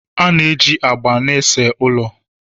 A na-eji agba na-ese ụlọ